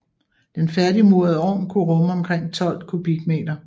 Den færdigmurede ovn kunne rumme omkring 12 m3